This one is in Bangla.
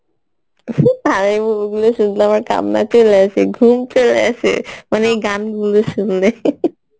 আমার কান্না চলে আসে ঘুম চলে আসে মানে এই গান গুলো শুনলে